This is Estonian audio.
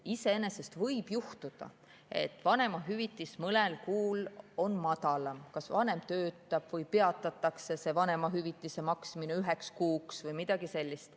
Iseenesest võib juhtuda, et vanemahüvitis on mõnel kuul madalam, kui vanem kas töötab või peatatakse vanemahüvitise maksmine üheks kuuks või midagi sellist.